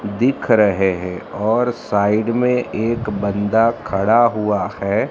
दिख रहे हैं और साइड में एक बंदा खड़ा हुआ हैं।